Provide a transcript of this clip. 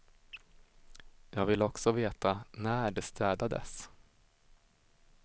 Jag vill också veta när det städades.